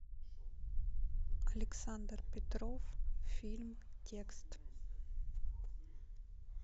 александр петров фильм текст